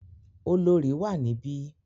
Olorì wà níbí.